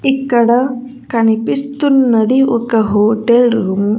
ఇక్కడ కనిపిస్తున్నది ఒక హోటల్ రూమ్ .